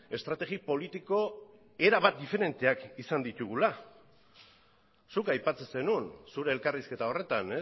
estrategi politiko erabat diferenteak izan ditugula zuk aipatzen zenuen zure elkarrizketa horretan